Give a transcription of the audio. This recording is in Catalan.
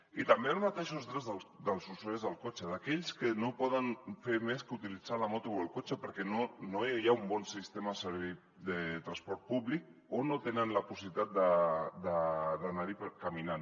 i també els mateixos drets dels usuaris del cotxe d’aquells que no poden fer més que utilitzar la moto o el cotxe perquè no hi ha un bon sistema de transport públic o no tenen la possibilitat d’anar caminant